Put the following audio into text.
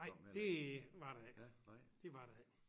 Nej det var der ikke det var der ikke